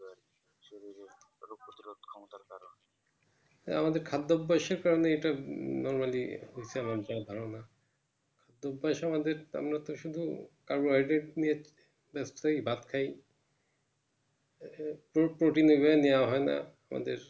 এ আমাদের খাদ্য অভ্যাসের ফলে এটা Normally ধারণা অভ্যাস ও আমাদের আমরা তো শুধু কার্বোহাইডেড নিয়ে ভাত খাই নেওয়া হয়না আমাদের